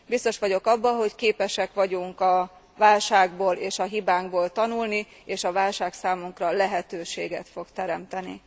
Biztos vagyok abban, hogy képesek vagyunk a válságból és a hibánkból tanulni, és a válság számunkra lehetőséget fog teremteni.